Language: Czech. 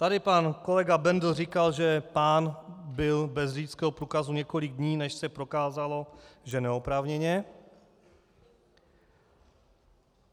Tady pan kolega Bendl říkal, že pán byl bez řidičského průkazu několik dní, než se prokázalo, že neoprávněně.